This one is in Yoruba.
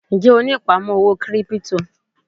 Ń jẹ́ ó ní ìpamọ́ owó kírípítò?